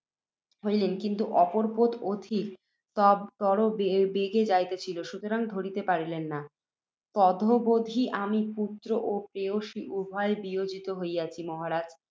হইলেন, কিন্তু অপর পোত অধিকতর বেগে যাইতেছিল, সুতরাং ধরিতে পারিলেন না। তদবধি আমি পুত্ত্র ও প্রেয়সী উভয়ে বিয়োজিত হইয়াছি। মহারাজ!